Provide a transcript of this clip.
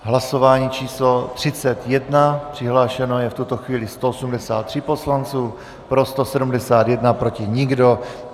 Hlasování číslo 31, přihlášeno je v tuto chvíli 183 poslanců, pro 171, proti nikdo.